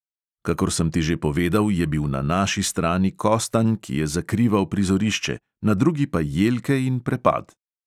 Kakor sem ti že povedal, je bil na naši strani kostanj, ki je zakrival prizorišče, na drugi pa jelke in prepad.